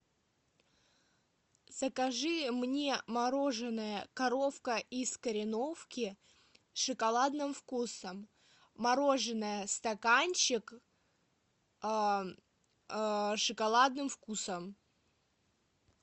закажи мне мороженое коровка из кореновки с шоколадным вкусом мороженое стаканчик с шоколадным вкусом